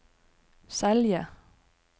Selje